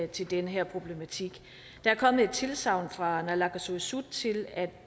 til den her problematik der er kommet et tilsagn fra naalakkersuisut til at